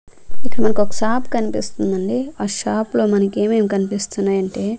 ఇక్కడ మనకొక షాప్ కనిపిస్తుందండి ఆ షాప్ లో మనకేమేమ్ కనిపిస్తున్నాయంటే--